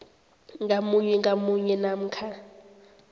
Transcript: ngamunye ngamunye namkha